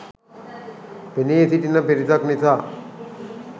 පෙනී සිටින පිරිසක් නිසා